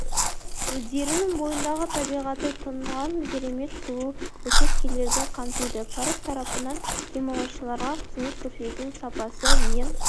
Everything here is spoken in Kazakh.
өзендерінің бойындағы табиғаты тұнған керемет сұлу учаскелерді қамтиды парк тарапынан демалушыларға қызмет көрсетудің сапасы мен